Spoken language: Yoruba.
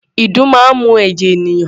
Ìdun máa ń mu ẹ̀jẹ̀ ènìyàn.